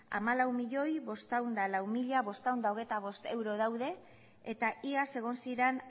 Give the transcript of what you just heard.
hamalau milioi bostehun eta lau mila bostehun eta hogeita bost euro daude eta iaz egon ziren